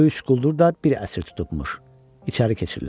O üç quldur da bir əsir tutubmuş, içəri keçirlər.